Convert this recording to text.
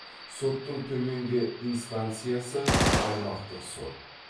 соттың төменгі инстанциясы аймақтық сот